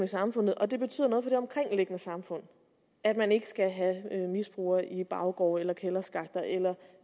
samfundet og det betyder noget for det omkringliggende samfund at man ikke skal have misbrugere i baggårde eller kælderskakter eller